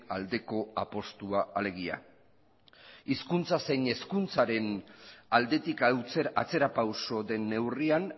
aldeko apustua alegia hizkuntza zein hezkuntzaren aldetik atzerapauso den neurrian